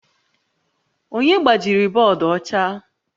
Onye gbajiri bọọdụ ọcha?